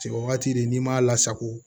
Cɛ wagati de n'i m'a lasago